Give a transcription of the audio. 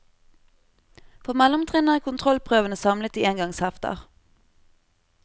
For mellomtrinnet er kontrollprøvene samlet i engangshefter.